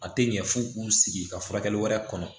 A tɛ ɲɛ f'u k'u sigi ka furakɛli wɛrɛ kɔnɔ